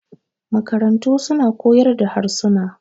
makarantu suna kaoyar da harsuna